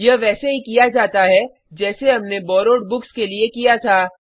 यह वैसे ही किया जाता है जैसे हमने बोरोवेड बुक्स के लिए किया था